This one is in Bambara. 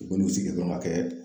U bɛn'u sigi dɔrɔn k'a kɛ.